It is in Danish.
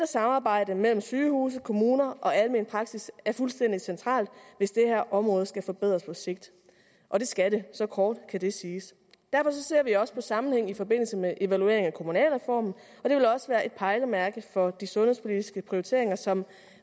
samarbejde mellem sygehuse kommuner og almen praksis er fuldstændig centralt hvis det her område skal forbedres på sigt og det skal det så kort kan det siges derfor ser vi også på sammenhænge i forbindelse med evalueringen af kommunalreformen og det vil også være et pejlemærke for de sundhedspolitiske prioriteringer som